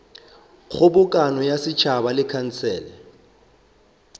kgobokano ya setšhaba le khansele